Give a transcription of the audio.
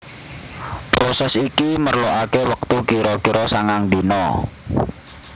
Prosès iki merlokaké wektu kira kira sangang dina